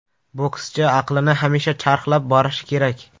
Bokschi aqlini hamisha charxlab borishi kerak.